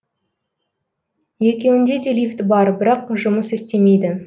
екеуінде де лифт бар бірақ жұмыс істемейді